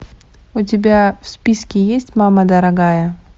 у тебя в списке есть мама дорогая